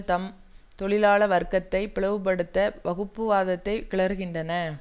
தாம் தொழிலாள வர்க்கத்தை பிளவுபடுத்த வகுப்புவாதத்தை கிளறுகின்றன